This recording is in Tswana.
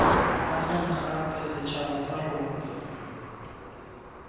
ageng gape setšhaba sa rona